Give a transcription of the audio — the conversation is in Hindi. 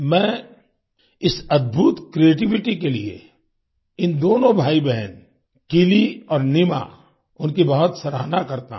मैं इस अद्भुत क्रिएटिविटी के लिए इन दोनों भाईबहन किलि और नीमा उनकी बहुत सराहना करता हूं